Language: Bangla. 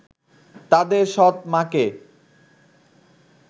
তাদের সৎ মাকে